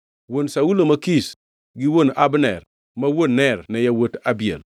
Wuon Saulo ma Kish gi wuon Abner ma wuon Ner ne yawuot Abiel.